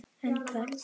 En hvert?